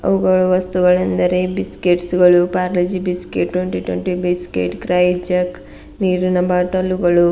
ಅವುಗಳು ವಸ್ತುಗಳೆಂದರೆ ಬಿಸ್ಕಟ್ಸ ಗಳು Parle G biscuit twenty twenty biscuit Krackjack ನೀರಿನ ಬಾಟಲ ಗಳು --